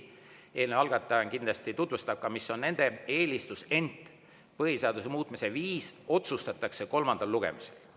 Eelnõu algataja kindlasti tutvustab, mis on nende eelistus, ent põhiseaduse muutmise viis otsustatakse kolmandal lugemisel.